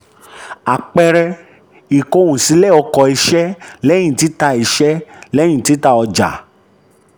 àpẹẹrẹ: ìkóhunsílẹ̀ ọkọ̀ iṣẹ́ lẹ́yìn tita iṣẹ́ lẹ́yìn tita ọjà.